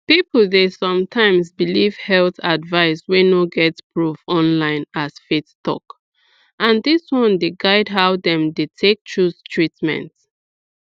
people dey sometimes believe health advice wey no get proof online as faith talk and dis one dey guide how dem dey take choose treatment